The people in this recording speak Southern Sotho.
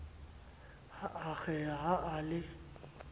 a akgeha ha a le